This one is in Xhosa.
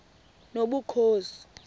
nobukhosi